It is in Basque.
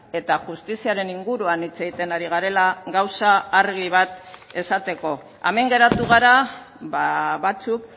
eta justiziaren inguruan hitz egiten ari garela gauza argi bat esateko hemen geratu gara batzuk